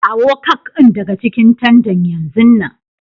Kawo cak din daga cikin tandan yanzun nan!